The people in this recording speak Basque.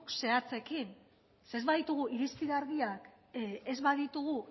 zehatzekin zeren ez baditugu irizpide argiak ez baditugu